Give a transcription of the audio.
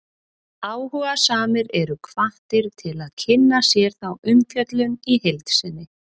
áhugasamir eru hvattir til að kynna sér þá umfjöllun í heild sinni